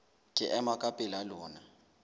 ke ema ka pela lona